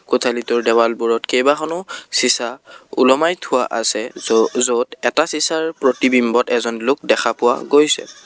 কোঠালীটোৰ দেৱালবোৰত কেবাখনো ছিছা ওলমাই থোৱা আছে য' য'ত এটা চিছাৰ প্ৰতিবিম্বত এজন লোক দেখা পোৱা গৈছে।